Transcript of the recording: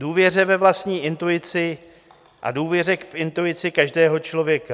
Důvěře ve vlastní intuici a důvěře k intuici každého člověka.